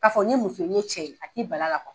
K'a fɔ n ye muso ye n ye cɛ ye a t'i bal'a